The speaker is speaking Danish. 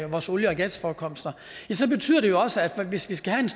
vores olie og gasforekomster så betyder det jo også at vi hvis vi skal have